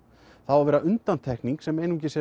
á að vera undantekning sem einungis